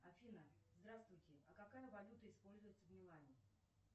афина здравствуйте а какая валюта используется в милане